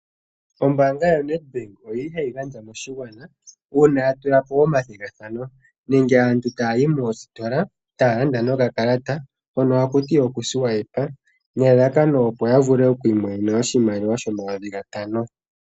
Ombaanga ya NET Bank oyili hayi gandja moshigwana uuna ya tula po omathigathano . Nenge aantu taya yi moositola taya landa noka kalata hono hakuti oku swipa nelalakano opo ya vule oku sindana oshimaliwa shomayovi gatano.